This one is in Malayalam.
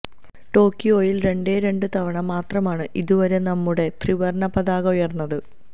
ടോക്കിയോയില് രണ്ടേ രണ്ടു തവണ മാത്രമാണ് ഇതുവരെ നമ്മുടെ ത്രിവര്ണ്ണ പതാക ഉയര്ന്നത്